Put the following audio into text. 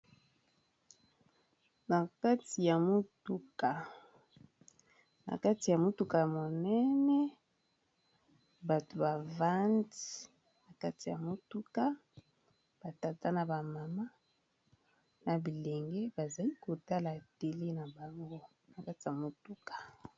Na kati ya motuka ya monene bato bavandi na kati ya motuka ba tata na ba mama na bilenge bazali kotala tele na bango na kati ya motuka.